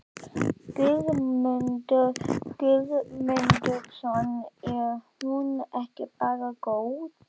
Guðmundur Guðmundsson: Er hún ekki bara góð?